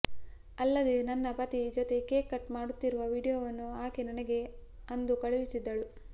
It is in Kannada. ಅಲ್ಲದೇ ನನ್ನ ಪತಿ ಜೊತೆ ಕೇಕ್ ಕಟ್ ಮಾಡುತ್ತಿರುವ ವಿಡಿಯೋವನ್ನು ಆಕೆ ನನಗೆ ಅಂದು ಕಳುಹಿಸಿದ್ದಳು